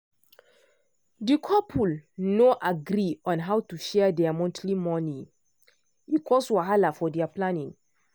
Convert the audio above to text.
di couple no agree on how to share their monthly money e cause wahala for their planning.